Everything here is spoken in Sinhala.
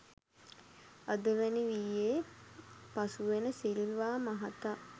අදවැනි වියේ පසුවෙන සිල්වා මහතා